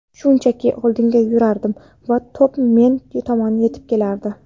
Shunchaki oldinga yugurardim va to‘p men tomon yetib kelardi.